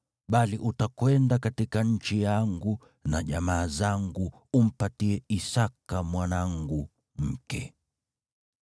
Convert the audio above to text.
bali utakwenda katika nchi yangu na jamaa zangu umpatie Isaki mwanangu mke.”